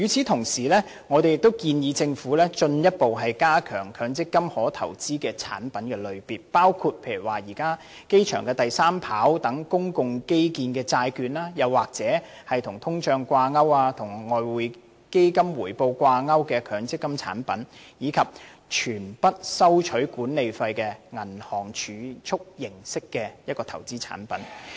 同時，我們亦建議政府進一步增加強積金可投資的產品類別，包括現時機場第三條跑道等公共基建的債券，又或是與通脹掛鈎及與外匯基金回報掛鈎的強積金產品，以及全不收取任何管理費的銀行儲蓄形式投資產品。